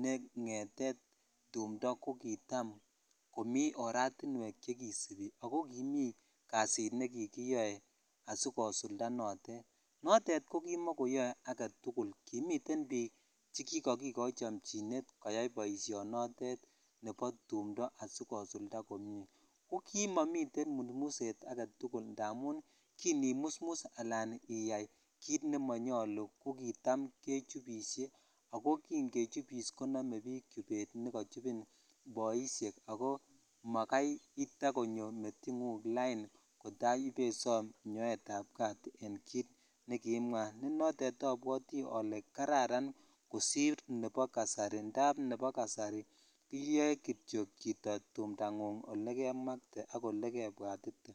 ne ngeteet tumndo kogitaam komii oratinweek chegisibi ago kimii kasiit negigiyoe asigosulda noteet, noteet kogimagoyoe agetugul kimiteen biik chegigogigoii chomchineet koyaai boishonotet nebo tumndo asigosulda komnyee, ko kimagomiteen musmuset agetugul namuun kinimusmus alaan iyaai kiit nemanyolu ko kitaam kechubishe ago kiin kechubiss koginome biik chubeet negachubin boisheek ago magai itakonyo meingung laain kotaa boisoom nyoeet ab kaat en kiit negimwaa netotet obwotii olee kararan kosiir nebo kasari ndaab nebo kasari iyoee kityo chito tumndang'ung' olegemakte ak olegebwatite.